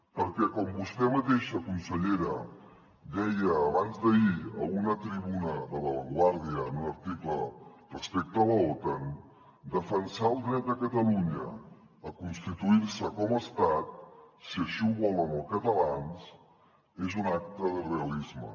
perquè com vostè mateixa consellera deia abans d’ahir a una tribuna de la vanguardia en un article respecte a l’otan defensar el dret de catalunya a constituir se com a estat si així ho volen els catalans és un acte de realisme